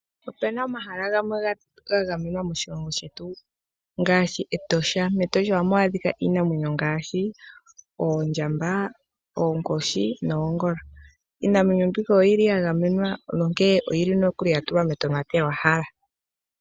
Opena omahala gamwe ga gamenwa moshilongo shetu ngaashi Etosha. MEtosha ohamu adhika iinamwenyo ngaashi oondjamba, oonkoshi, noongolo. Iinamwenyo mbika oyili ya gamenwa, nonkee oyili nokuli ya tulwa metonatelwahala.